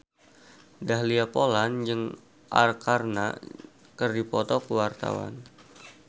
Dahlia Poland jeung Arkarna keur dipoto ku wartawan